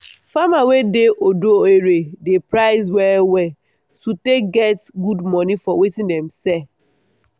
farmer wey dey odo ere dey price well well to take get good money for watin dem sell.